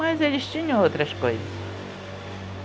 Mas eles tinham outras coisas.